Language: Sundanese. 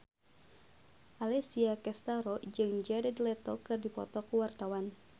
Alessia Cestaro jeung Jared Leto keur dipoto ku wartawan